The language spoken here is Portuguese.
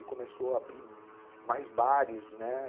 E começou a abrir mais bares, né?